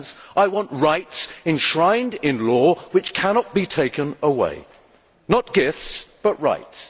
I want rights enshrined in law which cannot be taken away not gifts, but rights.